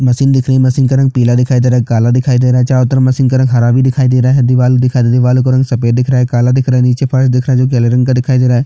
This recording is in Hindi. मशीन दिख रही है मशीन का रंग पीला दिख रहा है काला दिखाई दे रहा है चारों तरफ मशीन का रंग हरा भी दिखाई दे रहा है दीवाल दिखाई दे रहा है देवालों का रंग सफ़ेद दिख रहा है काला दिख रहा है नीचे फर्श दिखा रहा है जोकि हरे रंग का दिखाई दे रहा हैं।